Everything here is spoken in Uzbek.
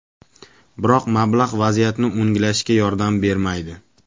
Biroq mablag‘ vaziyatni o‘nglashga yordam bermaydi.